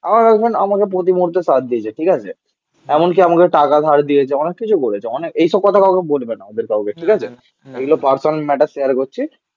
আমার গার্লফ্রেন্ড আমাকে প্রতি মুহূর্তে সাথ দিয়েছে. ঠিক আছে. এমনকি আমাকে টাকা ধার দিয়েছে. অনেক কিছু করেছে. অনেক এইসব কথা কাউকে বলবে না ওদের কাউকে. ঠিক আছে? এগুলো পার্সোনাল ম্যাটার শেয়ার করছি